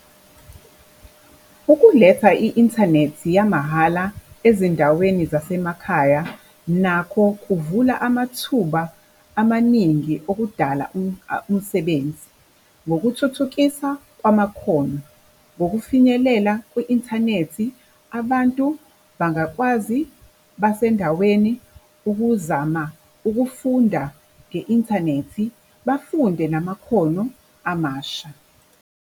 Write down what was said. Ukuletha i-inthanethi yamahhala ezindaweni zasemakhaya nakho kuvula amathuba amaningi okudala umsebenzi. Ngokuthuthukisa kwamakhono, ngokufinyelela kwi-inthanethi, abantu bangakwazi basendaweni ukuzama ukufunda nge-inthanethi bafunde namakhono amasha.